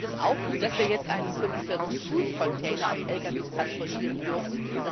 Ich finde es auch gut, dass wir jetzt einen 45 Fuß Container auf Lkw transportieren dürfen.